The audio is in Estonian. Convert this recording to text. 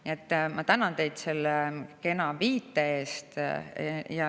Nii et ma tänan teid selle kena viite eest!